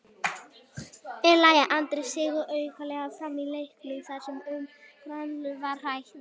En lagði Andri sig aukalega fram í leiknum þar sem um grannaslag var að ræða?